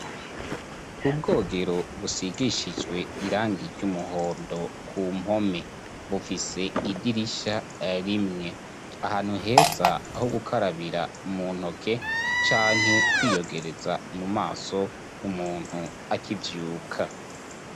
Ubwogero busigishijwe irangi ry'umuhondo ku mpome. Bufise idirisha rimwe. Ahantu heza ho gukarabira mu ntoke canke kwiyogereza mumaso, umuntu akivyuka.